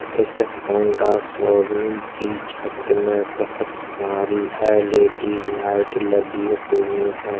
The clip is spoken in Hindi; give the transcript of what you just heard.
इस हौंडा शोरूम की छत में बहुत सारी एलईडी लाइट लगी हुई है।